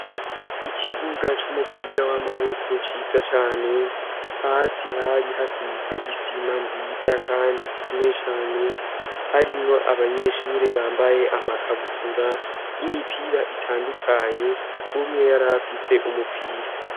Ikibuga c'umupira w'amaboko ciza cane hasi hari hasize isima nziza, kandi ikomeye cane harimo abanyeshure bambaye amakabutura imipira itandukanye umwe yarafise umupira.